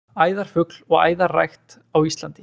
æðarfugl og æðarrækt á íslandi